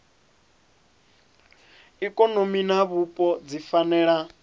ikonomi na vhupo dzi fanela